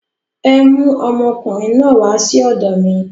Ẹ mú ọmọkùnrin náà wà sí ọ̀dọ̀ mi.